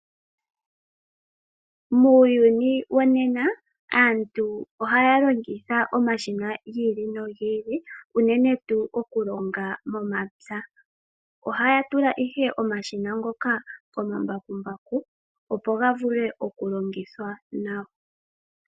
Muuyuni wonena, aantu oha yalongitha omashina gi ili no gi ili, unene tuu okulonga momapya. Ohaya tula ihe omashina ngoka komambakumbaku opo ga vule okulongithwa nawa.